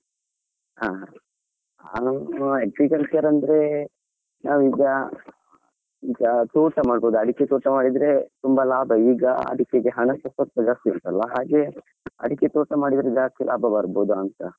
ಹಾ ಹಾ agriculture ಅಂದ್ರೆ ನಾವೀಗ ಈಗ ತೋಟ ಮಾಡಬೋದು ಹಾ ಅಡಿಕೆ ತೋಟ ಮಾಡಿದ್ರೆ ತುಂಬಾ ಲಾಭ, ಈಗ ಅಡಿಕೆಗೆ ಹಣಸಾ ಸ್ವಲ್ಪ ಜಾಸ್ತಿ ಉಂಟಲ್ವಾ ಹಾಗೆ ಅಡಿಕೆ ತೋಟ ಮಾಡಿದ್ರೆ ಜಾಸ್ತಿ ಲಾಭ ಬರ್ಬೋದಾ ಅಂತ.